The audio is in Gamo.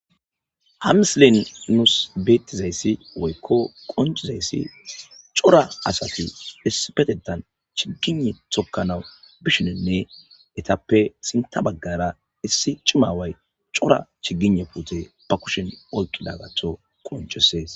Ha misilen nus betizays woyko qoncizays cora asat issipetetan chigine tokanaw bishininne etappe sinta bagara issi cima away cora pute ba kushen oykidagaton qoncises.